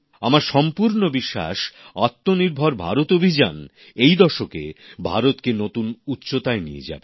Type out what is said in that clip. আমার সম্পূর্ণ বিশ্বাস আত্মনির্ভর ভারত অভিযান এই দশকে ভারতকে নতুন উচ্চতায় নিয়ে যাবে